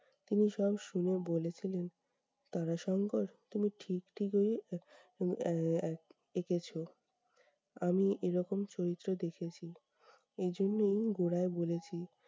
তিনি সব শুনে বলেছিলেন- তারাশঙ্কর তুমি ঠিক ঠিকই উম আহ এক এঁকেছো। আমি এরকম চরিত্র দেখেছি, এজন্যই গোড়ায় বলেছি